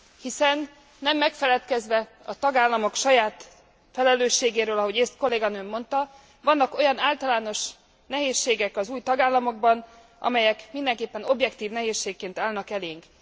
Hiszen nem megfeledkezve a tagállamok saját felelőségéről, ahogy ezt kolléganőm mondta, vannak olyan általános nehézségek az új tagállamokban, amelyek mindenképpen objektív nehézségként állnak elénk.